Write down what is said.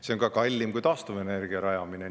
See on ka kallim kui taastuvenergia rajamine.